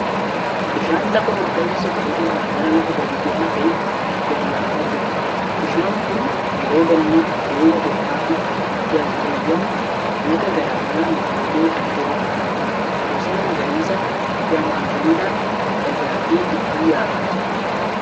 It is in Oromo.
Bishaan lafa olka'insa qabu irraa gara lafa gadi bu'aa ta'eetti gadi yaa'aa jiru. Bishaan kun yeroo gannaa rooba bokkaa fi galtuuwwan lagaa garaa garaan guutee kan jirudha. Bosona magariisa gamaa gamanaan dagaage gidduu yaa'aa jira.